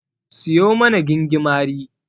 Siyo mana gingimari.